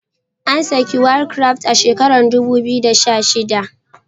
An saki war craft a shekarar dubu biyu da sha shida